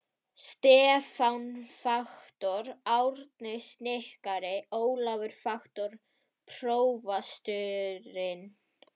Stefán faktor, Árni snikkari, Ólafur faktor, prófasturinn.